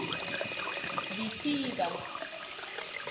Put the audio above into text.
vitsika